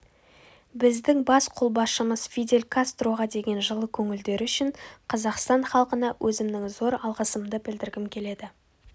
біздің бас қолбасшымыз фидель кастроға деген жылы көңілдері үшін қазақстан халқына өзімнің зор алғысымды білдіргім келеді